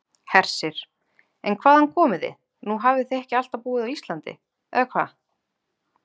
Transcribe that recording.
Hersir: En hvaðan komið þið, nú hafið þið ekki alltaf búið á Íslandi, eða hvað?